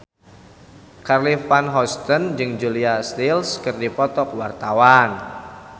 Charly Van Houten jeung Julia Stiles keur dipoto ku wartawan